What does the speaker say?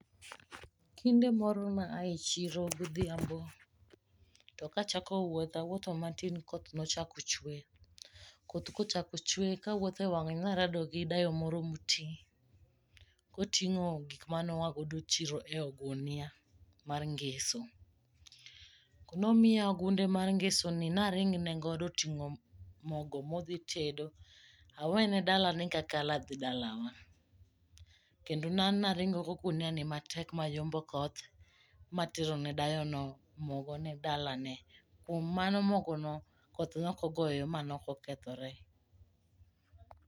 Kinde moro ne aa e chiro godhiambo to ka achako wuoth, awuotho matin koh ne chako chwe. Koth kochako chwe kawuotho e yoo ne arado gi dayo moro moti koting'o gik mane oago e chiro koting'o ogunia mar ngeso. Nomiya ogunde mar ngesono naring ne godo oting'o mogo ma odhi tedo awene dalane kakalo dhi dalawa. Kendo an ne aringo goguniani mayombo koth materone dayono mogono dalane. Kuom mano mogono koth ne ok ogoyo mane ok okethore.